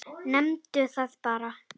Nefndu það bara.